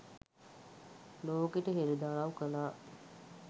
ලෝකෙට හෙළිදරව් කළා.